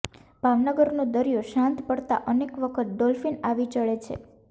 ભાવનગરનો દરિયો શાંત પડતા અનેક વખત ડોલ્ફીન આવી ચડે છે